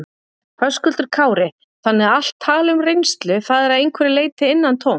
Höskuldur Kári: Þannig að allt tal um reynslu, það er að einhverju leyti innantómt?